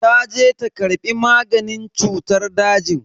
Taje ta karbi maganin cutar dajin.